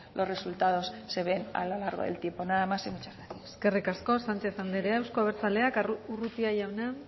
los resultados se ven a lo largo del tiempo nada más y muchas gracias eskerrik asko sanchez andrea euzko abertzaleak urrutia jauna